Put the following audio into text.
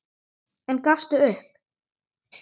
En gafstu upp?